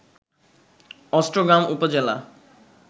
অষ্টগ্রাম উপজেলা